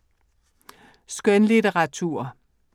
Skønlitteratur